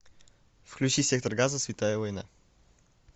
включи сектор газа святая война